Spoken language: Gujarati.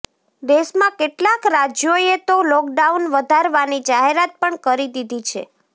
દેશમાં કેટલાક રાજ્યોએ તો લોકડાઉન વધારવાની જાહેરાત પણ કરી દીધી છે